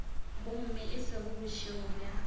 gomme e se bošego bja